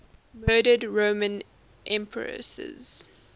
murdered roman empresses